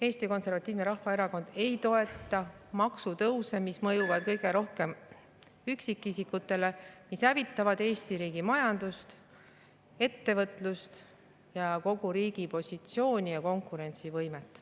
Eesti Konservatiivne Rahvaerakond ei toeta maksutõuse, mis mõjuvad kõige rohkem üksikisikutele ning hävitavad Eesti riigi majandust, ettevõtlust, kogu riigi positsiooni ja konkurentsivõimet.